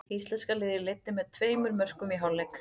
Íslenska liðið leiddi með tveimur mörkum í hálfleik.